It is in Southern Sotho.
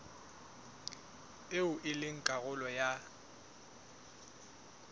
eo e leng karolo ya